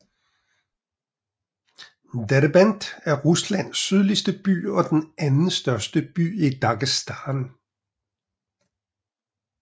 Derbent er Ruslands sydligste by og den andenstørste by i Dagestan